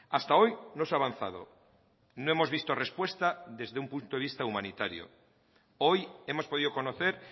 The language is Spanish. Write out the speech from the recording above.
hasta hoy no se ha avanzado no hemos visto respuesta desde un punto de vista humanitario hoy hemos podido conocer